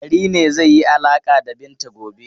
Dari ne zai yi alaƙa da Binta gobe.